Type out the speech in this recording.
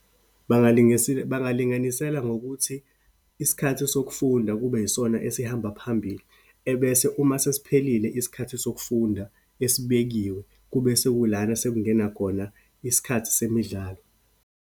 Bangalinganisela ngokuthi isikhathi sokufunda kube yisona esihamba phambili, ebese uma sesiphelile isikhathi sokufunda esibekiwe, kube sekulana sekungena khona isikhathi semidlalo.